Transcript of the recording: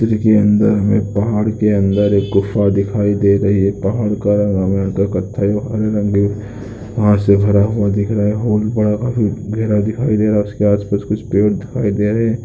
के अंदर हमें पहाड़ के अंदर एक गुफ़ा दिखाई दे रही है। पहाड़ का रंग हमें अंदर कत्थाई हरे रंग से भरा हुआ दिख रहा है। होल बड़ा काफ़ी गहरा दिखाई दे रहा है। उसके आसपास कुछ पेड़ दिखाई दे रहे हैं।